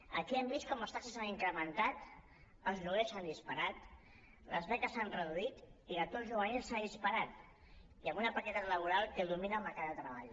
aquí hem vist com les taxes s’han incrementat els lloguers s’han disparat les beques s’han reduït i l’atur juvenil s’ha disparat i amb una precarietat laboral que domina el mercat de treball